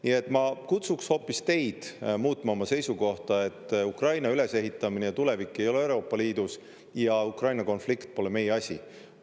Nii et ma kutsuks hoopis teid muutma oma seisukohta, et Ukraina ülesehitamine ja tulevik ei ole Euroopa Liidus ja Ukraina konflikt pole meie asi.